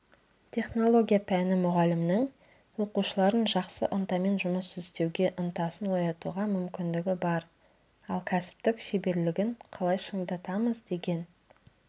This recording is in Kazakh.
технология пәні мұғалімінің оқушылардың жақсы ынтамен жұмыс істеуге ынтасын оятуға мүмкіндігі бар ал кәсіптік шеберлігін қалай шыңдатамыз деген